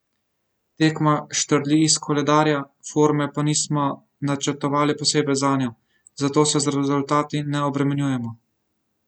Tekma štrli iz koledarja, forme pa nismo načrtovali posebej zanjo, zato se z rezultati ne obremenjujemo.